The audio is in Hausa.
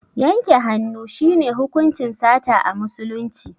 Yanke hannu shi ne hukuncin sata a musulunci